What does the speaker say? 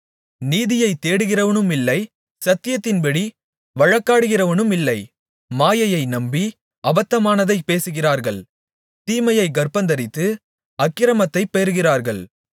நீதியைத் தேடுகிறவனுமில்லை சத்தியத்தின்படி வழக்காடுகிறவனுமில்லை மாயையை நம்பி அபத்தமானதைப் பேசுகிறார்கள் தீமையைக் கர்ப்பந்தரித்து அக்கிரமத்தைப் பெறுகிறார்கள்